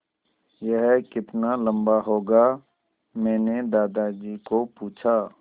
यह कितना लम्बा होगा मैने दादाजी को पूछा